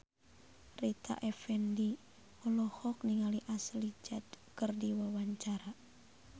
Rita Effendy olohok ningali Ashley Judd keur diwawancara